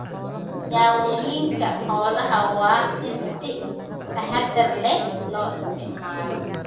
Daawooyinka xoolaha waa in si taxadar leh loo isticmaalo.